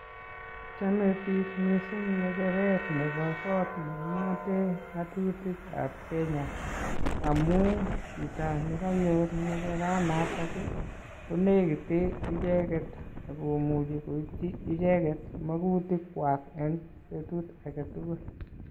Chame biik missing ng'echeret nebo koot neking'ate ng'atutikab Kenya. Amuu chito nekanyor ng'echeraat natak, konikite icheket akomuchi koipchi icheket magutik kwaak eng' betut agetugul.